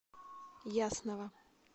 ясного